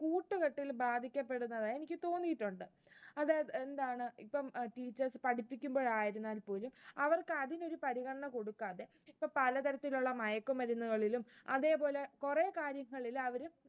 കൂട്ടുകെട്ടിൽ ബാധിക്കപ്പെടുന്നതായി എനിക്ക് തോന്നിയിട്ടുണ്ട്. അതായത് എന്താണ് ഇപ്പം teachers പഠിപ്പിക്കുമ്പോൾ ആയിരുന്നാൽ പോലും, അവർക്ക് അതിനൊരു പരിഗണന കൊടുക്കാതെ ഇപ്പോ പലതരത്തിലുള്ള മയക്കുമരുന്നുകളിലും, അതേപോലെ കുറെ കാര്യങ്ങളിൽ അവര്